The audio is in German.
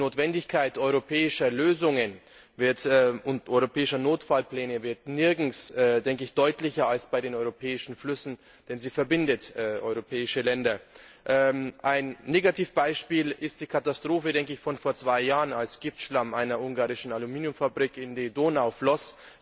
Die Notwendigkeit europäischer Lösungen und europäischer Notfallpläne wird nirgends deutlicher als bei den europäischen Flüssen, denn sie verbinden europäische Länder. Ein Negativbeispiel ist die Katastrophe von vor zwei Jahren, als Giftschlamm einer ungarischen Aluminiumfabrik in die Donau floss.